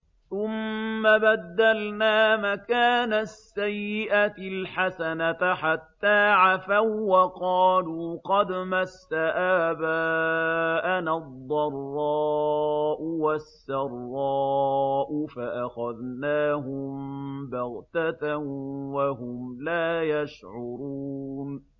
ثُمَّ بَدَّلْنَا مَكَانَ السَّيِّئَةِ الْحَسَنَةَ حَتَّىٰ عَفَوا وَّقَالُوا قَدْ مَسَّ آبَاءَنَا الضَّرَّاءُ وَالسَّرَّاءُ فَأَخَذْنَاهُم بَغْتَةً وَهُمْ لَا يَشْعُرُونَ